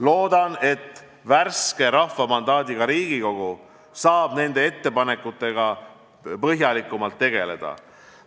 Loodan, et värske rahva mandaadiga Riigikogu saab nende ettepanekutega põhjalikumalt tegeleda.